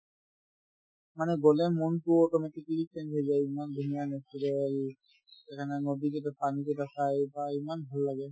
মানে গ'লে মনতোও automatically change হৈ যায় ইমান ধুনীয়া natural সেইকাৰণে নদীকেইটাত পানি কেইটা চাই বাহ ! ইমান ভাল লাগে